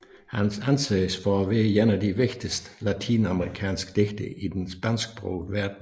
Han anses for at være en af de vigtigste latinamerikanske digtere i den spansksprogede verden